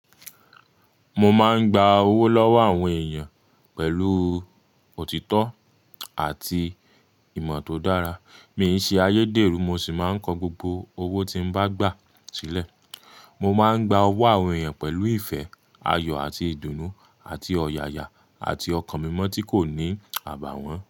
Mo máa ń gba owó lọ́wọ́ àwọn èèyàn pẹ̀lú òtítọ́ àti ìmọ̀ tó dára. Mi i se ayederu mo si maa n ko gbogbo owo ti n baa gba sile. Mo máa ń gba owó àwọn èèyàn pẹ̀lú ìfẹ́, ayọ̀ àti ìdùnnú àti ọ̀yàyà àti ọkàn mímu tí kò ní àbàwọ́n.